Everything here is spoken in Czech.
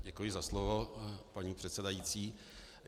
Děkuji za slovo, paní předsedající.